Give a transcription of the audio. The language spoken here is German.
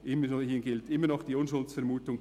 hier gilt immer noch die Unschuldsvermutung.